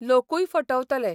लोकूय फटवतले.